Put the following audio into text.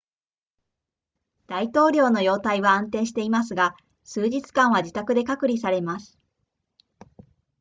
大統領の容態は安定していますが数日間は自宅で隔離されます